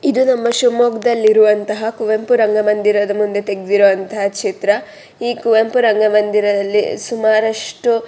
ಇದು ನಮ್ಮ ಶಿವಮೊಗ್ಗದಲ್ಲಿ ಇರುವ ಕುವೆಂಪು ರಂಗ ಮಂದಿರ ದಲ್ಲಿ ತೆಗ್ದಿರುವಂಥ ಚಿತ್ರ ಈ ಕುವೆಂಪು ರಂಗ ಮಂದಿರದಲ್ಲಿ ಸುಮಾರಷ್ಟು-